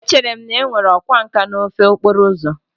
Echere m na e nwere ọkwá nkà n'ofe okporo ụzọ